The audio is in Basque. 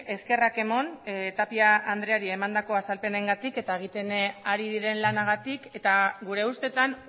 eskerrak eman tapia andreari emandako azalpenengatik eta egiten ari diren lanagatik eta gure ustetan